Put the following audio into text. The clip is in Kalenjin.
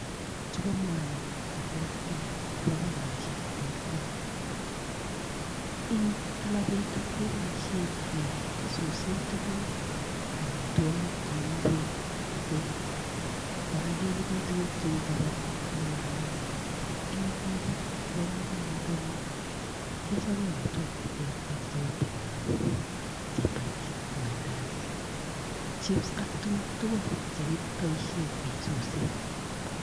Chuko mwanik cheterter, chebo kompunisiek che terter, eng kila betut keboishien kesusen tuguuk ,amitwogiik cheu ing'wek, githeri kora kebiren tuguuk cheu chapati ak mandazi. Eng igorwek chebo komonut anyone kechob amitwogiik che terter cheu pilau, chapati, mandazi, chips ak tuguuk tugul chekiboishien kesusen.